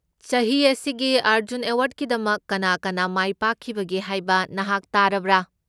ꯆꯍꯤ ꯑꯁꯤꯒꯤ ꯑꯔꯖꯨꯟ ꯑꯦꯋꯥꯔꯗꯀꯤꯗꯃꯛ ꯀꯅꯥ ꯀꯅꯥ ꯃꯥꯏꯄꯥꯛꯈꯤꯕꯒꯦ ꯍꯥꯏꯕ ꯅꯍꯥꯛ ꯇꯥꯔꯕ꯭ꯔꯥ?